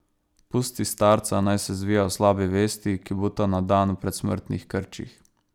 Pusti starca, naj se zvija v slabi vesti, ki buta na dan v predsmrtnih krčih.